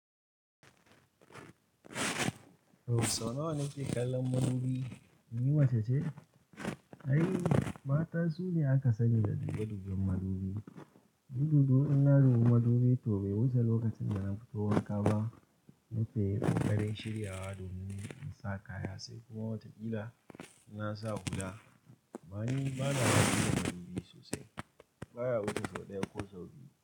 To sau nawa nake kallon madubi? Ni mace ce, ai mata su ne aka sani da dube-duben madubi. Ni yuanzu inna dube madubi to bai wuce lokacin da na fito wanka ba. Nike ƙarin shiryawa domin in sa kaya sai kuma wataƙila in sa hula. Amma ni ba na son madubi sosai. Ba ya wuce sau ɗaya ko sau biyu.